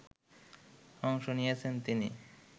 অংশ নিয়েছেন তিনি